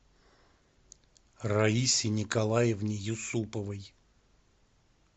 раисе николаевне юсуповой